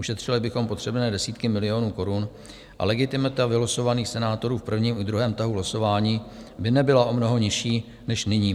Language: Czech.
Ušetřili bychom potřebné desítky milionů korun a legitimita vylosovaných senátorů v prvním i druhém tahu losování by nebyla o mnoho nižší než nyní.